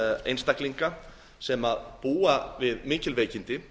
einstaklinga sem búa við mikil veikindi